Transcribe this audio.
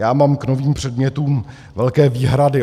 Já mám k novým předmětům velké výhrady.